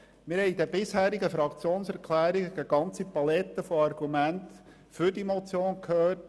Wir haben in den bisherigen Fraktionserklärungen eine ganze Palette von Argumenten für die Motion gehört.